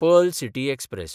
Pearl City express